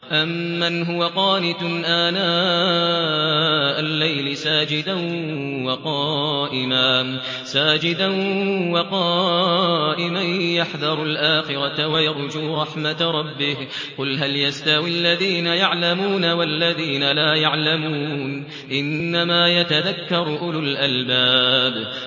أَمَّنْ هُوَ قَانِتٌ آنَاءَ اللَّيْلِ سَاجِدًا وَقَائِمًا يَحْذَرُ الْآخِرَةَ وَيَرْجُو رَحْمَةَ رَبِّهِ ۗ قُلْ هَلْ يَسْتَوِي الَّذِينَ يَعْلَمُونَ وَالَّذِينَ لَا يَعْلَمُونَ ۗ إِنَّمَا يَتَذَكَّرُ أُولُو الْأَلْبَابِ